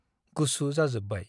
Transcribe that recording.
गुसु जाजोबबाय ।